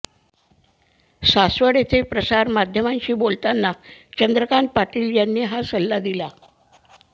सासवड येथे प्रसारमाध्यमांशी बोलताना चंद्रकांत पाटील यांनी हा सल्ला दिला